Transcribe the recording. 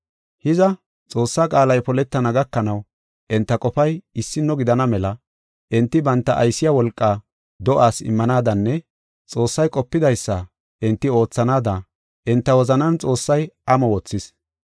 Hiza, Xoossaa qaalay poletana gakanaw enta qofay issino gidana mela enti banta aysiya wolqaa do7aas immanaadanne Xoossay qopidaysa enti oothanaada enta wozanan Xoossay amo wothis.